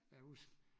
Jeg kan huske